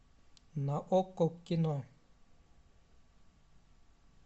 на окко кино